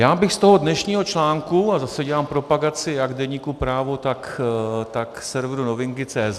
Já bych z toho dnešního článku, a zase dělám propagaci jak deníku Právo, tak severu Novinky.cz